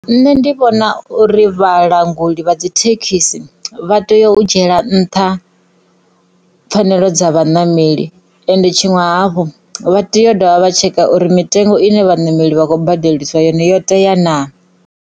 Nṋe ndi vhona uri vhalanguli vha dzi thekhisi vha tea u dzhiela nṱha pfanelo dza vhaṋameli ende tshiṅwe hafhu vha tea u dovha vha tsheka uri mitengo ine vhaṋameli vha khou badeliswa yone yo tea naa.